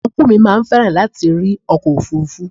Ọnkú mi máa fẹ́ràn láti rí ọkọ̀ òfuurufú.